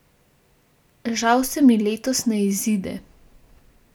Žal se mi letos ne izide.